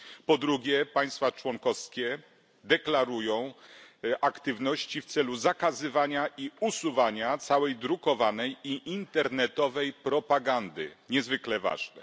Po drugie, państwa członkowskie deklarują aktywność w celu zakazywania i usuwania całej drukowanej i internetowej propagandy niezwykle ważne.